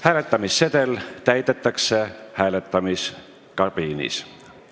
Hääletamissedel täidetakse hääletamiskabiinis.